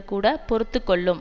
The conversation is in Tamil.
கூட பொறுத்து கொள்ளும்